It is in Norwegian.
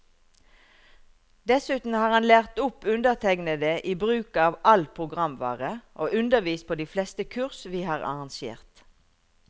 Dessuten har han lært opp undertegnede i bruk av all programvare, og undervist på de fleste kurs vi har arrangert.